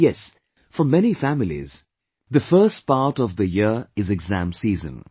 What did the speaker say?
Yes, for many families, the first part of the year is Exam Season